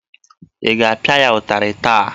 Ị ga-apịa ya ụtarị taa!